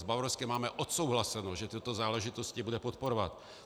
S Bavorskem máme odsouhlaseno, že tyto záležitosti bude podporovat.